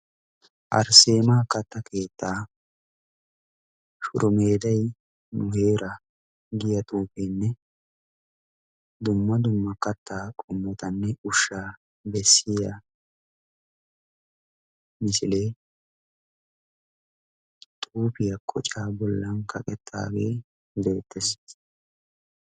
arsseema katta keettaa shuromeeday nu heera giya xuufeenne dumma dumma kattaa qummotanne ushshaa bessiya misilee xuufiyaa kocaa bollan kaqettaagee deettees.